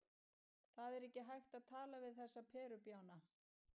Það er ekki hægt að tala við þessa perubjána.